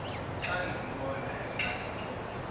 xa ndimbona exakekile